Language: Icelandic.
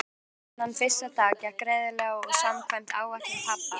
Ferðin þennan fyrsta dag gekk greiðlega og samkvæmt áætlun pabba.